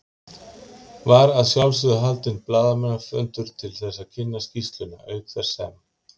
Var að sjálfsögðu haldinn blaðamannafundur til þess að kynna skýrsluna, auk þess sem